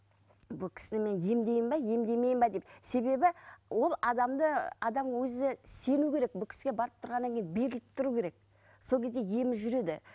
бұл кісіні мен емдеймін бе емдемеймін бе деп себебі ол адамды адам өзі сену керек бұл кісіге барып тұрғаннан кейін беріліп тұру керек сол кезде емі жүреді